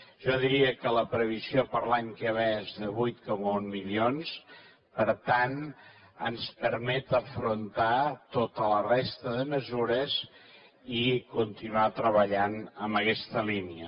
jo diria que la previsió per a l’any que ve és de vuit coma un milions per tant ens permet afrontar tota la resta de mesures i continuar treballant en aquesta línia